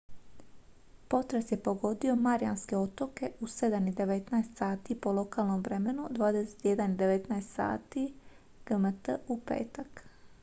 potres je pogodio marijanske otoke u 07:19 h po lokalnom vremenu 21:19 h gmt u petak